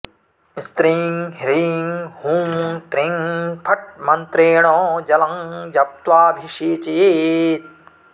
स्त्रीं ह्रीं हूं त्रीं फट् मन्त्रेण जलं जप्त्वाऽभिषेचयेत्